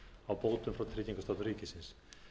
á bótum frá tryggingastofnun ríkisins